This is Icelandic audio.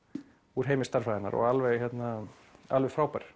úr heimi stærðfræðinnar og alveg alveg frábær